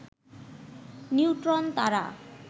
neutron তারা